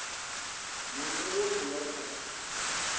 na munwe a nga kha